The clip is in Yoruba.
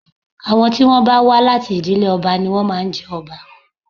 Àwọn tí wọ́n bá wà láti ìdílé ọba ni wọ́n máa ń jọba